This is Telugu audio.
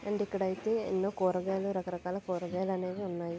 ఇక్కడ అయితే ఎన్నో కూరగాయలు రాకరాక కూరగాయలు అయితే ఉన్నాయి.